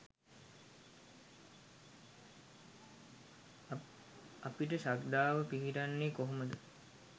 අපිට ශ්‍රද්ධාව පිහිටන්නේ කොහොමද?